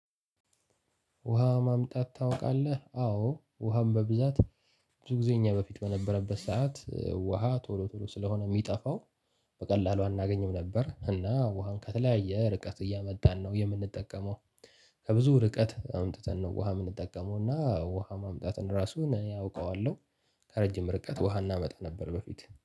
ውሃ ማምጣት ታውቃለህ? አዎ ውሃም በብዛት ብዙ ጊዜ እኛ በፊት በነበረበት ሰዓት ውሃ ቶሎ ቶሎ ስለሆነ የሚጠፋው በቀላሉ አናገኝም። ነበር እና ውሃን ከተለያየ ርቀት እያመጣን ነው የምንጠቀመው። ከብዙ ርቀት አምጥተን ነው ውሃ የምንጠቀመው እና ውሃ ማምጣትን ራሱን እኔ አውቀዋለሁ። ከረጀ ርቀት ውሃ እናመጣ ነበር። በእንትን